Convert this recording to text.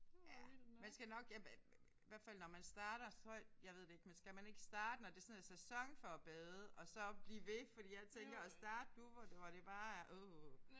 Ja man skal nok ja i hvert fald når man starter så jeg ved det ikke men skal man ikke starte når det sådan er sæson for at bade og så blive ved fordi jeg tænker at starte nu hvor det bare er åh